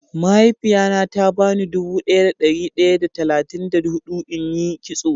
Mahaifiya na ta ba ni dubu daya da dari daya da talatin da hudu in yi kitso.